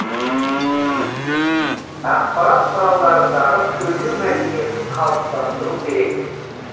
ақпарат құралдарындағы сөйлеу мәдениетін қалыптастыру керек